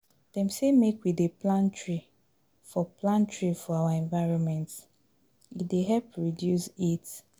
Dem sey make we dey plant tree for plant tree for our environment, e dey help reduce heat